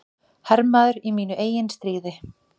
Hermaður í mínu eigin stríði.